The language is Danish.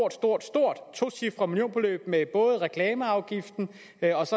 et stort stort tocifret millionbeløb med både reklameafgiften